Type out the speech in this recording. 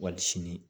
Wali sini